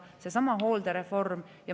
Näiteks seesama hooldereform.